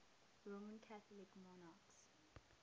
roman catholic monarchs